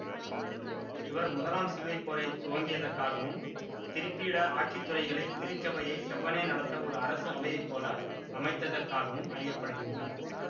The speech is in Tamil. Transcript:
இவர் முதலாம் சிலுவைப் போரை துவங்கியதற்காகவும் திருப்பீட ஆட்சித்துறைகளை திருச்சபையை செவ்வனே நடத்த ஒரு அரசு அவையைப்போல அமைத்ததர்க்காகவும் அறிய படுகின்றார்